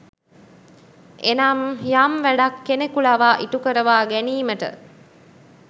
එනම් යම් වැඩක් කෙනෙකු ලවා ඉටුකරවා ගැනීමට